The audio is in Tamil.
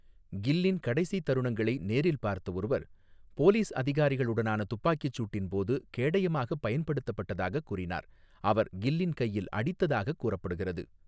கில்லின் கடைசி தருணங்களை நேரில் பார்த்த ஒருவர், போலீஸ் அதிகாரிகளுடனான துப்பாக்கிச் சூட்டின் போது கேடயமாகப் பயன்படுத்தப்பட்டதாகக் கூறினார், அவர் கில்லின் கையில் அடித்ததாகக் கூறப்படுகிறது.